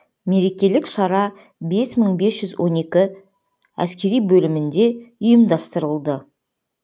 мерекелік шара бес мың бес жүз он екі әскери бөлімінде ұйымдастырылды